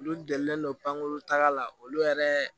Olu delilen don pankuruta la olu yɛrɛ